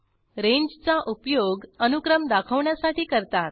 रेंजचा उपयोग अनुक्रम दाखवण्यासाठी करतात